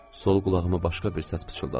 Sol qulağımı başqa bir səs pıçıldadı.